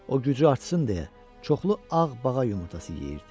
O gücü artsın deyə çoxlu ağ bağa yumurtası yeyirdi.